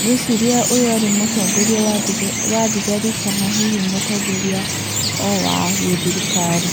ngwĩciria ũyũ arĩ mũtongoria wa thigari kana hihi mũtongoria o wa gĩthirikari.